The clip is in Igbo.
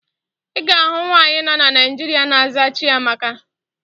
Ị ga-ahụ nwaanyị nọ na Naịjirịa na-aza Chiamaka